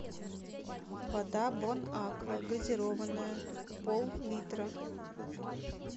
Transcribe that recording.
вода бонаква газированная пол литра